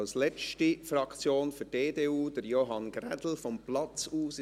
Als letzter Fraktionssprecher spricht Johann Ulrich Grädel vom Sitzplatz aus.